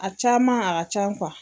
A caman a ka can